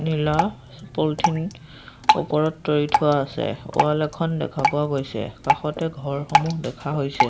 নীলা পলিঠিন ওপৰত তৰি থোৱা আছে ৱাল এখন দেখা পোৱা গৈছে কাষতে ঘৰসমূহ দেখা হৈছে।